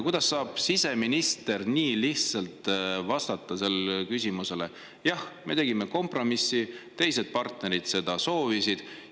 Kuidas saab siseminister nii lihtsalt vastata sellele küsimusele, et jah, me tegime kompromissi, sest teised partnerid seda soovisid?